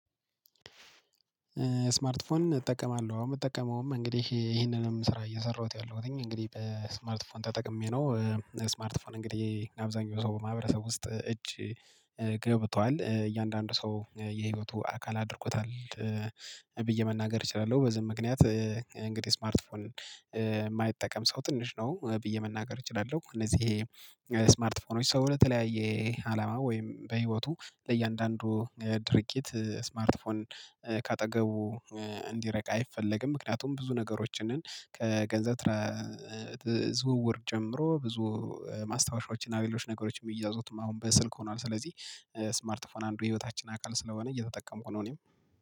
ስማርት ፎን እጠቀማለሁ። አሁን የምጠቀመውም እንግዲህ ይሄንንም ስራ እየሰራሁት ያለሁትኝ እንግዲህ በስማርት ስፎን ተጠቅሜ ነው። ስማርት ስፎን እንግዲህ አብዛኛው ሰው በማህበረሰብ ውስጥ እጅ ገብቷል። እያንዳንዱ ሰው የህይወቱ አካል አድርጎታል። ብዬ መናገር እችላለሁ። በዚህም ምክንያት እንግዲህ ስማርት ፎን የማይጠቀም ሰው ትንሽ ነው ብዬ መናገር እችላለሁ። እነዚህ ይሄ ስማርት ፎኖች ሰው ለተለያየ አላማ ወይም በህይወቱ ለእያንዳንዱ ድርጊት ስማርት ከአጠገቡ እንዲረቅ አይፈለግም። ምክንያቱም ብዙ ነገሮችን ከገንዘብ ዝውውር ጨምሮ ብዙ ማስታወሻዎችን እና የሌሎች ነገሮች የሚያዙትም አሁን በስልክ ሆኗል። ስለዚህ ስማርት ፎን አንዱ የህይወታችን አካል ስለሆነ እየተጠቀምኩ ነው እኔም